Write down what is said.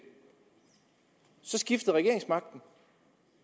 så skiftede regeringsmagten